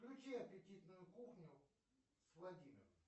включи аппетитную кухню с владимиром